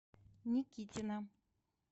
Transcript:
никитина